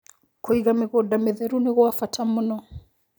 Kũĩga mĩgũnda mĩtherũ nĩgwa bata mũno